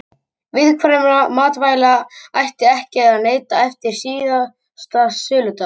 Viðkvæmra matvæla ætti ekki að neyta eftir síðasta söludag.